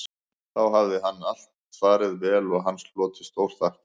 Þá hafði allt farið vel og hann hlotið stórþakkir